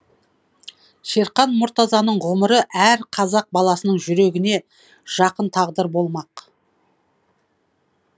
шерхан мұртазаның ғұмыры әр қазақ баласының жүрегіне жақын тағдыр болмақ